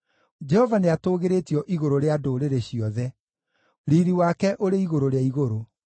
Jehova nĩatũũgĩrĩtio igũrũ rĩa ndũrĩrĩ ciothe, riiri wake ũrĩ igũrũ rĩa igũrũ.